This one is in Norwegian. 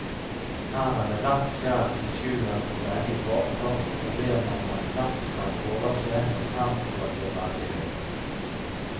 Her er det skjær i sjøen for begge parter og problemer man lett kan overse når tempoet blir veldig høyt.